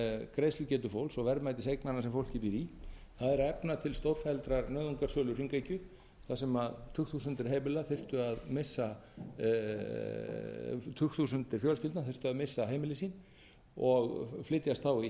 greiðslugetu fólks og verðmætis eignanna sem fólkið býr í það er að efna til stórfelldrar nauðungarsöluhringekju þar sem tugþúsundir fjölskyldna þyrftu að missa heimili sín og flytjast þá í